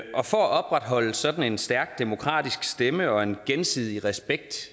for at opretholde sådan en stærk demokratisk stemme og en gensidig respekt